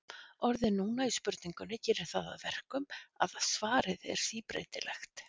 Orðið núna í spurningunni gerir það að verkum að svarið er síbreytilegt.